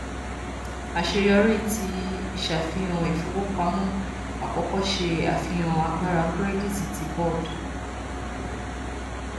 aṣeyọri ti iṣafihan ifowopamọ akọkọ ṣe afihan agbara kirẹditi ti boad